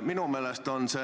Minu meelest on see